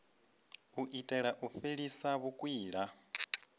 u itela u fhelisa vhukwila